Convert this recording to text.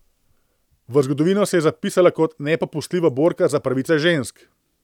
V zgodovino se je zapisala kot nepopustljiva borka za pravice žensk.